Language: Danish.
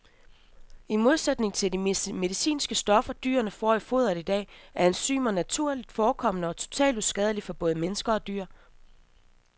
I modsætning til de medicinske stoffer, dyrene får i foderet i dag, er enzymerne naturligt forekommende og totalt uskadelige både for mennesker og dyr.